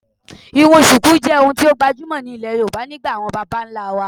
irun Shuku je ohun ti o gbajumo ni ile Yoruba nigba awon baba nla wa.